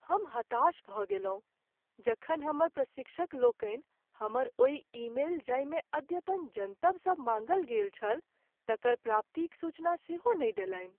हम हताश भ गेलहुँ जखन हमर प्रशिक्षक लोकनि हमर ओहि ईमेल जाहिमे अद्यतन जनतब सब माङ्गल गेल छल तकर प्राप्तिक सूचना सेहो नहि देलनि।